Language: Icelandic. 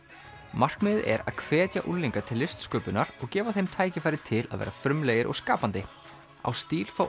markmiðið er að hvetja unglinga til listsköpunar og gefa þeim tækifæri til að vera frumlegir og skapandi á stíl fá